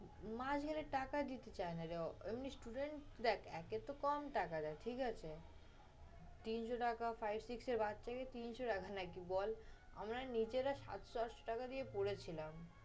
মাস গেলে টাকা দিতে চায় না রে। এমনি student দেখ একে তো কম টাকা দেয় ঠিক আছে। তিনশ টাকা five, six এর বাচ্চাকে তিনশ টাকা নাকি বল। আমরা নিজেরা সাতশ আটশ টাকা দিয়ে পড়েছিলাম।